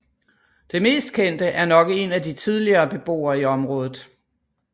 Det mest kendte er nok en af de tidligere beboere i området